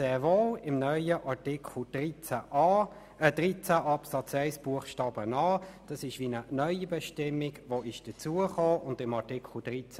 Im neuen Artikel 13 Absatz 1 Buchstabe a ist sehr wohl eine neue Bestimmung hinzugekommen, so auch in Artikel 13b.